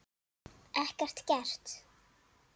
Ekkert gert?